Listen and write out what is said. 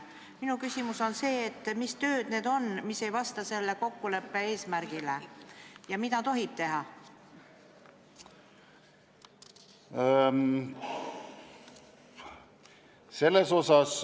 Minu küsimus on see, et mis tööd need on, mis ei vasta selle kokkuleppe eesmärgile, ja mida tohib teha?